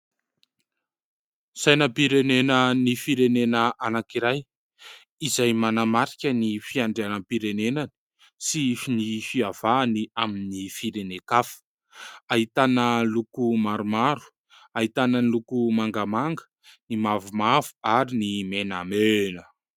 Sainam-pirenena ny firenena anankiray izay manamarika ny fiandrianam-pirenenany sy ny fiavahany amin'ny firenen-kafa, ahitana loko maromaro, ahitana ny loko mangamanga ny mavomavo ary ny menamena.